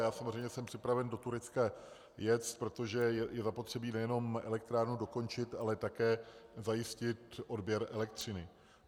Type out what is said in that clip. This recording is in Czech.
Já samozřejmě jsem připraven do Turecka jet, protože je zapotřebí nejenom elektrárnu dokončit, ale také zajistit odběr elektřiny.